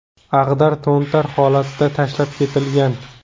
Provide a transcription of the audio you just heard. Ag‘dar-to‘ntar holatda tashlab ketilgan.